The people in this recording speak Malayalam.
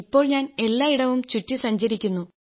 ഇപ്പോൾ ഞാൻ എല്ലായിടവും ചുറ്റി സഞ്ചരിക്കുന്നു